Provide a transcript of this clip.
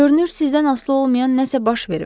Görünür sizdən asılı olmayan nəsə baş verib.